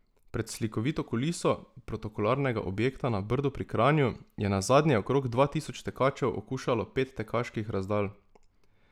Pred slikovito kuliso protokolarnega objekta na Brdu pri Kranju je nazadnje okrog dva tisoč tekačev okušalo pet tekaških razdalj.